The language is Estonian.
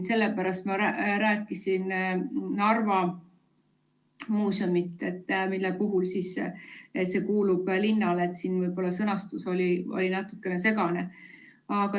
Sellepärast ma rääkisin Narva Muuseumist, mis kuulub linnale – võib-olla sõnastus oli natukene segane.